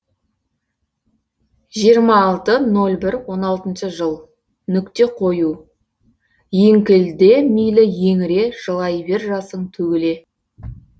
жиырма алты ноль бір он алтыншы жыл нүкте қою еңкілде мейлі еңіре жылай бер жасың төгіле